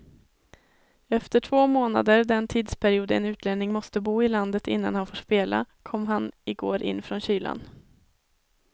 Efter två månader, den tidsperiod en utlänning måste bo i landet innan han får spela, kom han igår in från kylan.